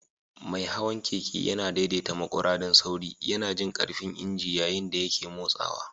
Mai hawan keke yana daidaita maƙura don sauri, yana jin ƙarfin injin yayin da yake motsawa.